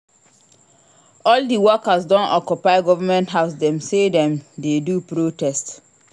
All di workers don occupy government house dem sey dem dey do protest.